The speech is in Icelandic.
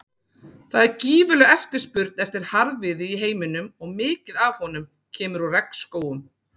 Það er gífurleg eftirspurn eftir harðviði í heiminum og mikið af honum kemur úr regnskógum.